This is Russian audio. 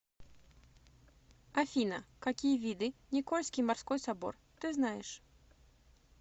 афина какие виды никольский морской собор ты знаешь